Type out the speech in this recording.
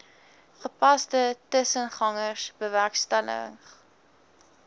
gepaste tussengangers bewerkstellig